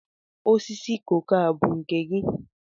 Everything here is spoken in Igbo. Osisi koko a bu nke gi?